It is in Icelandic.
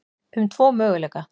um tvo möguleika.